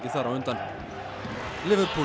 þar á undan